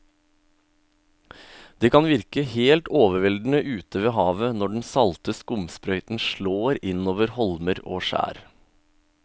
Det kan virke helt overveldende ute ved havet når den salte skumsprøyten slår innover holmer og skjær.